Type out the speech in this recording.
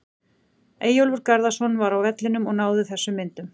Eyjólfur Garðarsson var á vellinum og náði þessum myndum.